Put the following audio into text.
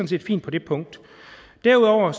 set fint på det punkt derudover